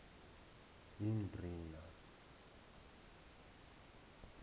yindrina